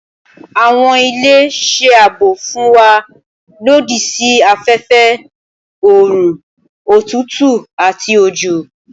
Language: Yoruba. Awọn ile ṣe aabo fun wa lodi si afẹfẹ, oorun, otutu ati ojo.